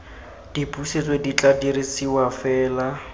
dipusetso di tla dirisiwa fela